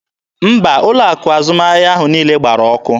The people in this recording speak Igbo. Mba, ụlọ akụ azụmahịa ahụ niile gbara ọkụ.